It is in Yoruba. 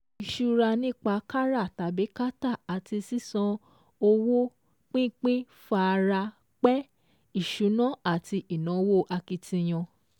Ìṣura nípa kárà tàbí kátà àti sísan owó pínpín fara pẹ́ ìṣúná ati ínáwó akitiyan